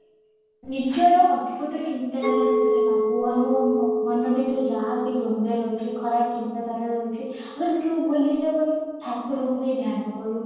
ନିଜର ଅଦ୍ଭୁତ ଚିନ୍ତା ଧାରା ସେଥିରେ ଭାବୁ ଆମ ମ ମନରେ ଭିତରେ ଯାହା ବି ଦ୍ଵନ୍ଦ ରହିଚି ଆମେ ସେ ସବୁ ଭୁଲି ଠାକୁରଙ୍କୁ ହିଁ ଧ୍ୟାନ କରୁ